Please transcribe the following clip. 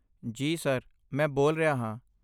ਜੀ ਸਰ, ਮੈਂ ਬੋਲ ਰਿਹਾ ਹਾਂ।